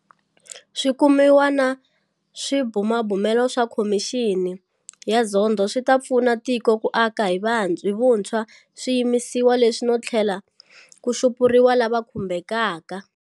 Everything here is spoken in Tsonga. Swikumiwa na swibumabumelo swa Khomixini ya Zondo swi ta pfuna tiko ku aka hi vuntshwa swiyimisiwa leswi no tlhela ku xupuriwa lava khumbekaka.